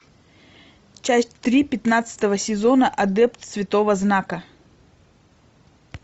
часть три пятнадцатого сезона адепт святого знака